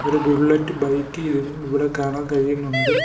ഒരു bullet bike ഏഹ് ഇവിടെ കാണാൻ കഴിയുന്നുണ്ട്.